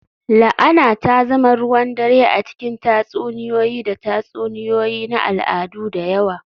La'ana ta zama ruwan dare a cikin tatsuniyoyi da tatsuniyoyi na al'adu da yawa